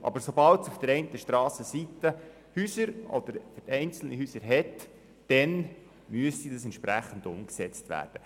Aber sobald es auf der einen Strassenseite Häuser oder einzelne Häuser hat, dann müsste das entsprechend umgesetzt werden.